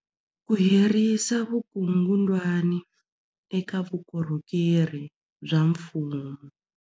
Ku herisa vukungundwani eka vukorhokeri bya mfumo.